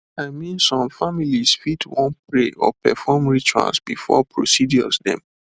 i mean some families fit wan pray or perform rituals before procedures dem